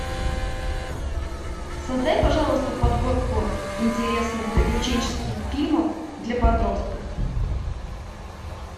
создай пожалуйста подборку интересных приключенческих фильмов для подростков